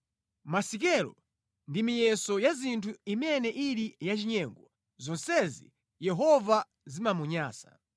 Masikelo ndi miyeso ya zinthu imene ili yachinyengo zonsezi Yehova zimamunyansa.